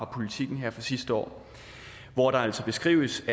politiken sidste år hvor det altså beskrives